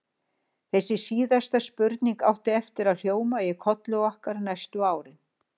Þessi síðasta spurning átti eftir að hljóma í kolli okkar næstu árin.